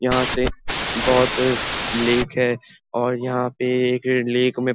यहां से बहोत लेक है और यहां पे एक लेख में --